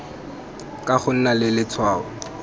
ka go nna le letshwao